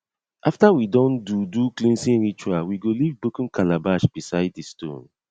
after we don do do cleansing ritual we go leave broken calabash beside di stone